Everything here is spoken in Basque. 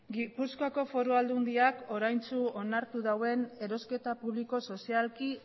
gipuzkoako foru aldundiak oraintsu onartu duen erosketa publiko sozialki